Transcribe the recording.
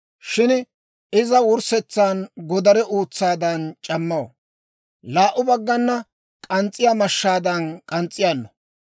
Shin iza wurssetsan godare uutsaadan c'ammaw; laa"u baggan k'ans's'iyaa mashshaadan k'ans's'iyaano;